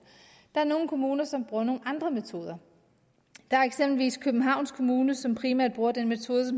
der er nogle kommuner som bruger nogle andre metoder der er eksempelvis københavns kommune som primært bruger den metode